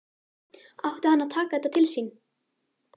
Átti hann að taka þetta til sín?